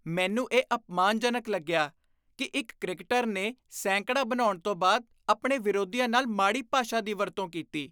ਮੈਨੂੰ ਇਹ ਅਪਮਾਨਜਨਕ ਲੱਗਿਆ ਕਿ ਇੱਕ ਕ੍ਰਿਕਟਰ ਨੇ ਸੈਂਕੜਾ ਬਣਾਉਣ ਤੋਂ ਬਾਅਦ ਆਪਣੇ ਵਿਰੋਧੀਆਂ ਨਾਲ ਮਾੜੀ ਭਾਸ਼ਾ ਦੀ ਵਰਤੋਂ ਕੀਤੀ।